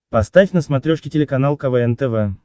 поставь на смотрешке телеканал квн тв